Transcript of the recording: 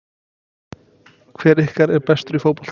Hver ykkar er bestur í fótbolta?